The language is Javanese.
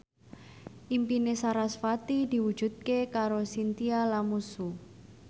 impine sarasvati diwujudke karo Chintya Lamusu